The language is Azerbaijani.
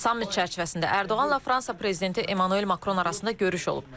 Sammit çərçivəsində Ərdoğanla Fransa prezidenti Emmanuel Makron arasında görüş olub.